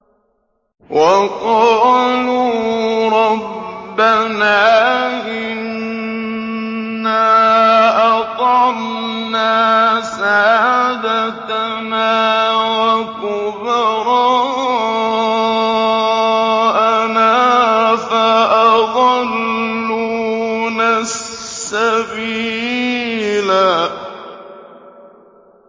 وَقَالُوا رَبَّنَا إِنَّا أَطَعْنَا سَادَتَنَا وَكُبَرَاءَنَا فَأَضَلُّونَا السَّبِيلَا